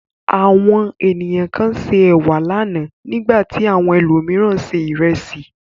Àwọn ènìyàn kan se ẹ̀wà lánàá, nígbà tí àwọn ẹlòmíràn se ìrẹsì.